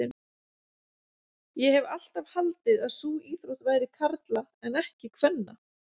Ég hef alltaf haldið að sú íþrótt væri karla en ekki kvenna.